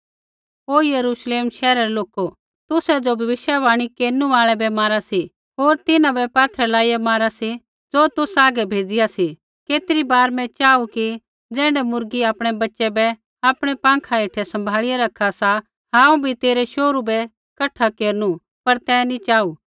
ओ Jerusalem शैहरा रै लोको ओ यरूश्लेम शैहरा रै लोको तू ज़ो भविष्यवाणी केरनु आल़ै बै मारा सा होर तिन्हां बै पात्थरै लाइया मारा सा ज़ो तौ हागै भेज़िआ सी केतरी बार मैं चाहू कि ज़ैण्ढै मुर्गी आपणै बच्च़ै बै आपणै पँखा हेठै सम्भाल़िया रखा सा हांऊँ बी तेरै शोहरू बै कठा केरनु पर तैं नी चाहू